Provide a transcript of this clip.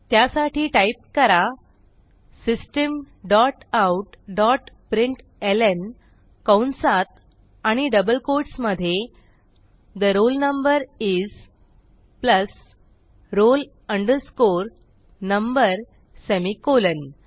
त्यासाठी टाईप करा system dot out dot println कंसात आणि डबल कोट्स मधे the roll number is plus roll number semicolon